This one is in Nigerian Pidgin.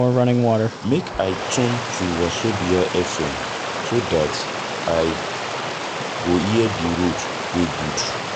Make I tune to Wazobia FM so dat I go hear di road wey good.